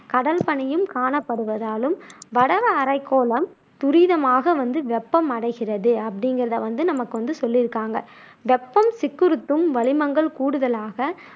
கடல் பனியும் காணப்படுவதாலும் வடவரைக்கோளம் துரிதமாக வந்து வெப்பமடைகிறது அப்படிங்குறதை வந்து நமக்கு சொல்லியிருக்காங்க வெப்பம் சிக்குறுத்தும் வளிமங்கள் கூடுதலாக